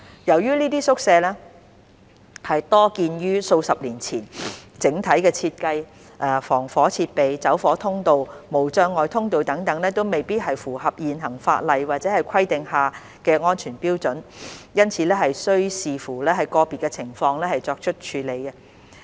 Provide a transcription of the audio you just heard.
由於這些宿舍多建於數十年前，整體設計、防火設備、走火通道、無障礙通道等未必符合現行法例或規定下的安全標準，因此須視乎個別情況作出處理。